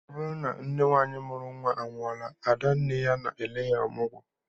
Ọ bụrụ na nne nwaanyị mụrụ nnwa anwụọla, ada nne ya na-ele ya ọmụgwọ